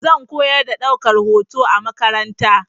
Zan koyar da ɗaukar hoto a makaranta.